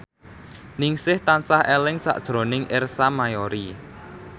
Ningsih tansah eling sakjroning Ersa Mayori